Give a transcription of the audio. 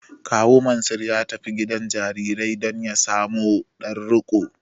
Kawu Mansur ya tafi gidan jarirai domin ya samo ɗan riƙo.